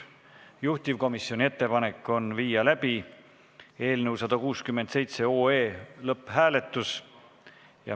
Juhtivkomisjoni ettepanek on viia läbi eelnõu 167 lõpphääletus.